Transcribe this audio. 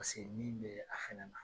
Paseke ni bɛ a fɛnɛ na.